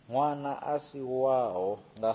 ṅwana a si wavho nga